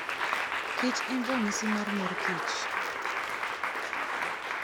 kich en ranyisi mar mor kich.